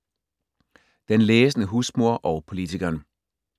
Den læsende husmor og politikeren